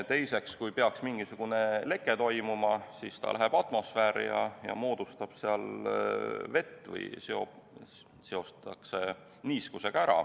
Teiseks, kui peaks mingisugune leke toimuma, siis see läheb atmosfääri ja moodustab seal vee või seotakse niiskusega.